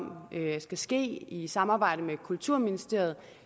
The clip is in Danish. skal ske i samarbejde med kulturministeriet